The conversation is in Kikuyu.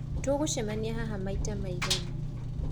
Tũgũcemania haha maita maigana?